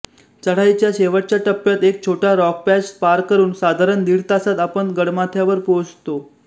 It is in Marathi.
चढाईच्या शेवटच्या टप्प्यात एक छोटा रॉक पॅच पार करून साधारण दिड तासांत आपण गडमाथ्यावर पोहोचतो